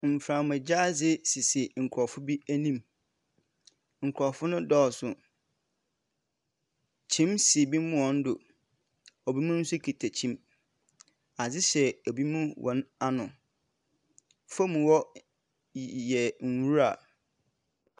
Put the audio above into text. Mframagya adze sisi nkorɔfo bi enim. Norɔfo no dɔɔso. Kyim si binom hɔn do. Binom nso kita kyim. Adze hyɛ bino hɔn ano. Famu hɔ y y yɛ nwura.